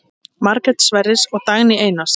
Margrét Sverris og Dagný Einars.